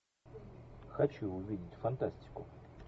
хочу увидеть фантастику